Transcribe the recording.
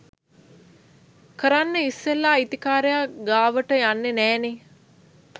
කරන්න ඉස්සෙල්ලා අයිතිකාරයා ගාවට යන්නෙ නෑනේ